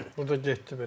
Bu da getdi belə.